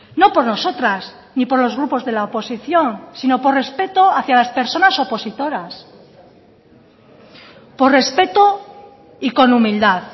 no por nosotras ni por los grupos de la oposición sino por respeto hacia las personas opositoras por respeto y con humildad